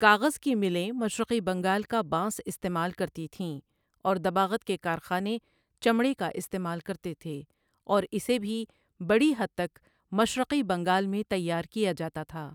کاغذ کی ملیں مشرقی بنگال کا بانس استعمال کرتی تھیں، اور دباغت کے کارخانے چمڑے کا استعمال کرتے تھے، اور اسے بھی بڑی حد تک مشرقی بنگال میں تیار کیا جاتا تھا۔